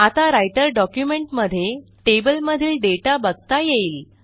आता writer document मध्ये टेबलमधील दाता बघता येईल